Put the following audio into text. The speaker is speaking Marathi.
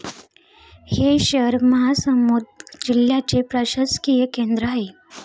हे शहर महासमुंद जिल्ह्याचे प्रशासकीय केंद्र आहे.